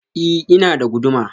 I, ina da guduma.